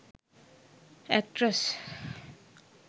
actress